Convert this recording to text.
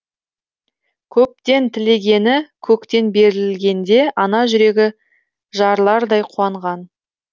көптен тілегені көктен берілгенде ана жүрегі жарылардай қуанған